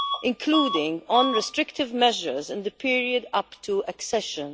including on restrictive measures in the period up to accession.